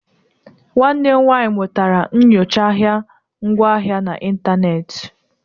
Nwanne m nwanyị mụtara nyocha ahịa ngwaahịa na ịntanetị